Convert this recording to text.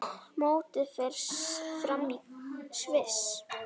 Mótið fer fram í Sviss.